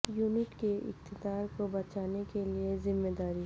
unit کے اقتدار کو بچانے کے لئے ذمہ داری